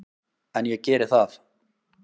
En ég geri það.